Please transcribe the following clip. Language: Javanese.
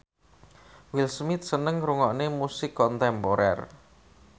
Will Smith seneng ngrungokne musik kontemporer